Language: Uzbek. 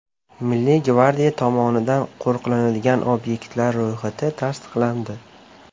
Milliy gvardiya tomonidan qo‘riqlanadigan obyektlar ro‘yxati tasdiqlandi.